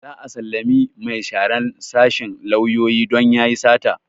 Za a sallame mai sharan sashen lauyoyi don yayi sata